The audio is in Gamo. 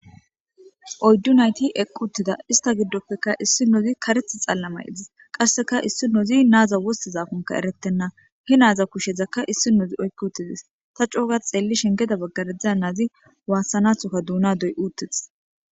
Oyddu nayti eqqu uttida ista giddoppeka issi nozi kareth xallamaydis qasseka issi nozi naaza wosti zafonka eretenna he naaza kushezaka issi nozi oykki uttidis ta cooga xeelli shengeda baggaredza naazi waassanathokka duuna doy uuttetis